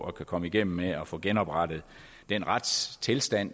at kunne komme igennem med at få genoprettet den retstilstand